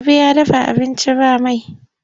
Habu ya dafa abinci ba mai.